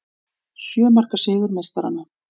Sjö marka sigur meistaranna